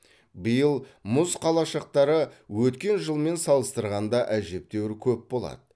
биыл мұз қалашықтары өткен жылмен салыстырғанда әжептеуір көп болады